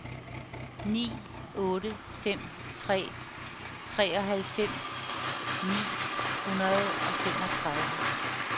ni otte fem tre treoghalvfems ni hundrede og femogtredive